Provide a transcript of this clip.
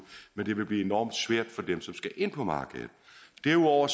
men det vil blive enormt svært for dem der skal ind på markedet derudover